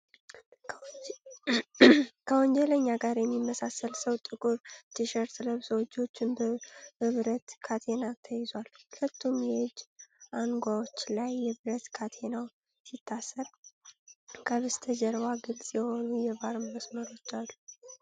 ከወንጀለኛ ጋር የሚመሳሰል ሰው ጥቁር ቲሸርት ለብሶ እጆቹን በብረት ካቴና ተይዟል። ሁለቱም የእጅ አንጓዎች ላይ የብረት ካቴናው ሲታሰር፣ ከበስተጀርባ ግልጽ የሆኑ የባር መስመሮች አሉ።